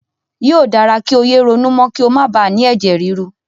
Yóò dára kí o yé ronú mọ́ kí o máa bà á ni ẹ̀jẹ̀ ríru.